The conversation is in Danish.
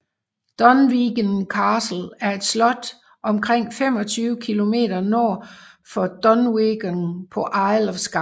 Dunvegan Castle er et slot omkring 25 km nord for Dunvegan på Isle of Skye